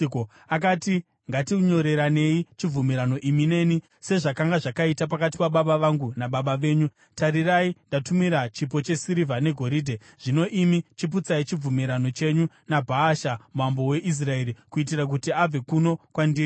Akati, “Ngatinyoreranei chibvumirano imi neni, sezvazvakanga zvakaita pakati pababa vangu nababa venyu. Tarirai, ndakutumirai chipo chesirivha negoridhe. Zvino imi chiputsai chibvumirano chenyu naBhaasha mambo weIsraeri kuitira kuti abve kuno kwandiri.”